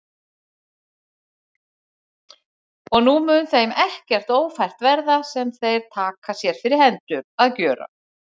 Og nú mun þeim ekkert ófært verða, sem þeir taka sér fyrir hendur að gjöra.